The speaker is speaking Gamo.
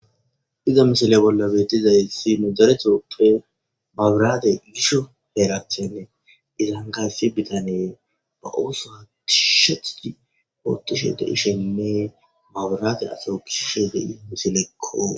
iza misile bolla beetizayssi nudaretooppe mabiraate yisho heeracthenne izan kayssi bitanee ba ooso tishshethu hootushe de ishenne maburate asa kishe de i misilekko